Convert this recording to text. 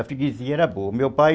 A freguesia era boa. O meu pai